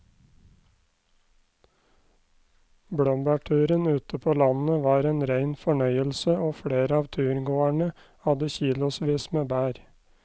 Blåbærturen ute på landet var en rein fornøyelse og flere av turgåerene hadde kilosvis med bær.